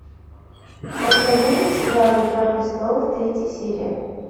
покажи мне сериал игра престолов третья серия